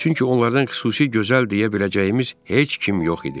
Çünki onlardan xüsusi gözəl deyə biləcəyimiz heç kim yox idi.